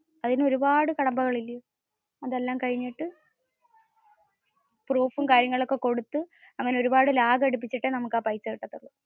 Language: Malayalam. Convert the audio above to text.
അതിനു ഒരുപാടു കടമ്പകൾ ഉണ്ട്. അതെല്ലാം കഴിഞ്ഞിട്, proofum കാര്യങ്ങളുമൊക്കെ കൊടുത്ത അങ്ങനെ ഒരുപാടു lag അടിപിചിട്ടെ നമുക് ആ പൈസ കിട്ടത്തുള്ളൂ.